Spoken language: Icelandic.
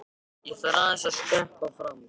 Ég þarf aðeins að skreppa fram.